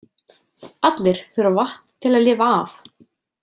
Allir þurfa vatn til að lifa af.